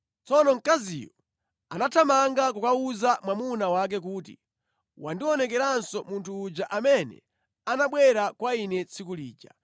Tsono mkaziyo anathamanga kukawuza mwamuna wake kuti, “Wandionekeranso munthu uja amene anabwera kwa ine tsiku lija.”